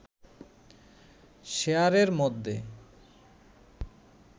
শেয়ারের মধ্যে